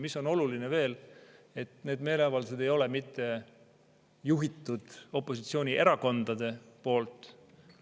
Mis on oluline veel, et need meeleavaldused ei ole mitte juhitud opositsioonierakondade poolt.